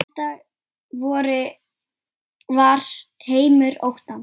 Þetta var heimur óttans.